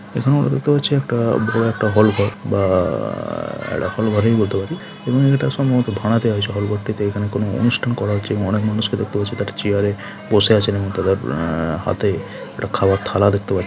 এখানেও দেখতে পাচ্ছি একটা আ বড়ো একটা হল ঘর বা--- এটা হল ঘরই বলতে পারি এবং এটা সম্ভবত ভাড়াতে হয় সকল পট্টিতে এখানে কোন অনুষ্টান করা হচ্ছে এবং অনেক মানুষকে দেখতে পাচ্ছি তা একটা চেয়ার এ বসে আছে এবং তাদের হাতে খাবার থালা দেখতে পাচ্ছি।